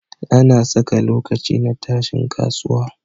Ana Saka lokaci na tashin kasuwa